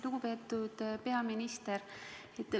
Lugupeetud peaminister!